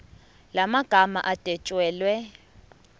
la magama adwetshelwe